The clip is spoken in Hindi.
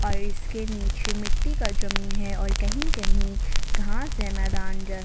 और इसके नीचे मिट्टी का जमीन है और कहीं कहीं घास है मैदान--